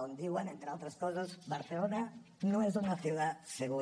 on diuen entre altres coses barcelona no es una ciudad segura